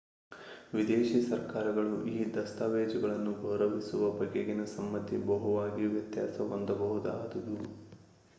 ವಿದೇಶೀ ಸರ್ಕಾರಗಳು ಈ ದಸ್ತಾವೇಜುಗಳನ್ನು ಗೌರವಿಸುವ ಬಗೆಗಿನ ಸಮ್ಮತಿ ಬಹುವಾಗಿ ವ್ಯತ್ಯಾಸ ಹೊಂದಬಹುದಾದುದು